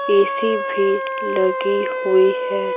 AC भी लगी हुई है।